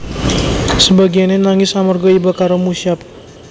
Sebagiyane nangis amarga iba karo Mushab